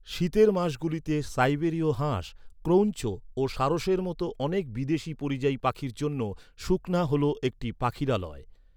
শীতের মাসগুলিতে সাইবেরীয় হাঁস, ক্রৌঞ্চ ও সারসের মতো অনেক বিদেশী পরিযায়ী পাখির জন্য সুখনা হল একটি পাখিরালয়।